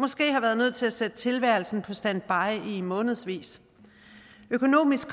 måske har været nødt til at sætte tilværelsen på standby i månedsvis økonomisk